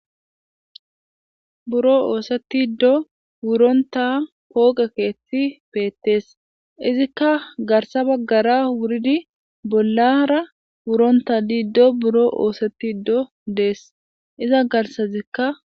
Buro oosetido wurontta pooqe keththi bettes izzika garssa baggara wuridi bollara wurontta diido buuro ossetido dessi izza garssazikka--